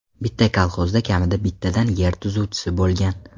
Bitta kolxozda kamida bittadan yer tuzuvchisi bo‘lgan.